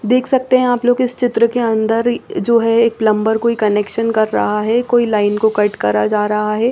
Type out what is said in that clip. देख सकते है आप लोग इस चित्र के अंदर जो है एक प्लम्बर कोई कनेक्शन कर रहा है कोई लाइन को कट रहा है।